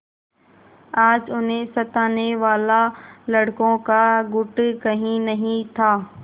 आज उन्हें सताने वाला लड़कों का गुट कहीं नहीं था